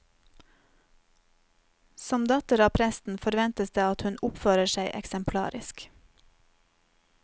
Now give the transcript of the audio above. Som datter av presten forventes det at hun oppfører seg eksemplarisk.